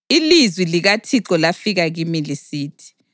Ilizwi likaThixo lafika kimi lisithi: